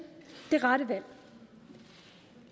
det rette valg